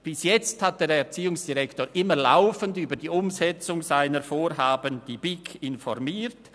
Bis jetzt hat der Erziehungsdirektor die BiK immer laufend über die Umsetzung seiner Vorhaben informiert.